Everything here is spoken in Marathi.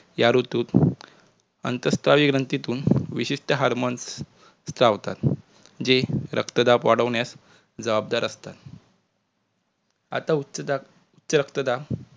या ऋतुत आंतरतः योनितून विशेषतः harmones चावतात जे रक्तदाब वाढविण्यास जबाबदार असतात. आता उच्च दाब कि रक्तदाब